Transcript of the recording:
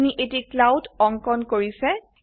আপোনি এটি ক্লাউড অঙ্কন কৰিছে